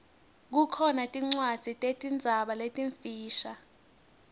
kukhona tincwadzi tetinzaba letimfisha